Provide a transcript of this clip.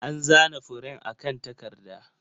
An zana furen akan takarda.